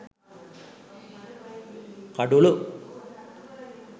kadulu